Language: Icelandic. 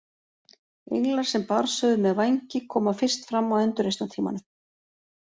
Englar sem barnshöfuð með vængi koma fyrst fram á endurreisnartímanum.